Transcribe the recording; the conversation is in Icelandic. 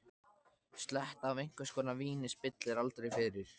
Sletta af einhvers konar víni spillir aldrei fyrir.